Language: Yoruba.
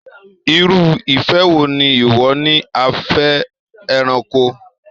Irú ìfẹ́ wo ni ìwọ ní a fẹ́ ẹranko?